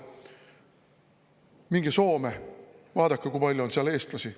Minge Soome, vaadake, kui palju on seal eestlasi.